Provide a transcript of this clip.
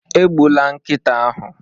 Egbula nkịta ahụ!